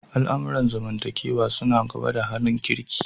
Al'amuran zamantakewa suna gaba da halin kirki.